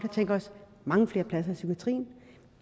tænkt os mange flere pladser i psykiatrien